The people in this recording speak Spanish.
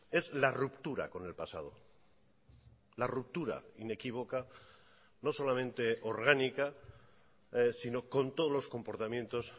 es la ruptura con el pasado la ruptura inequívoca no solamente orgánica sino con todos los comportamientos